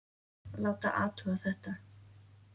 Láta athuga þetta.